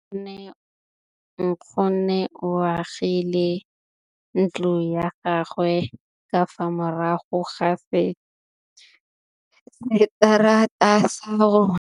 Nkgonne o agile ntlo ya gagwe ka fa morago ga seterata sa rona.